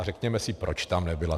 A řekněme si, proč tam nebyla.